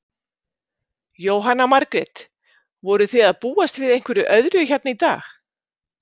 Jóhanna Margrét: Voruð þið að búast við einhverju öðru hérna í dag?